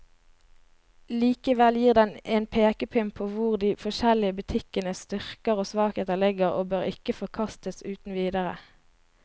Likevel gir den en pekepinn på hvor de forskjellige butikkenes styrker og svakheter ligger, og bør ikke forkastes uten videre.